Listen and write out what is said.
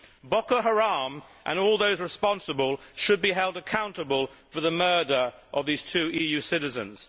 Boko Haram and all those responsible should be held accountable for the murder of these two EU citizens.